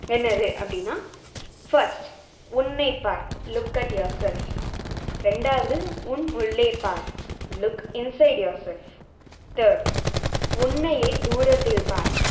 என்னது அப்டின்னா first உன்னை பார் look at yourself ரெண்டாவது உன் உள்ளே பார் look inside yourself third உன்னையே தூரத்தில் பார்